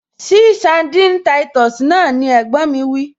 Ṣí sandini táìtọ̀sì náà! ni ẹ̀gbọ́n mi wí